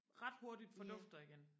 ret hurtigt fordufter igen